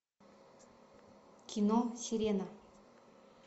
кино сирена